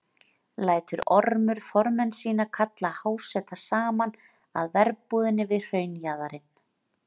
Lætur Ormur formenn sína kalla háseta saman að verbúðinni við hraunjaðarinn.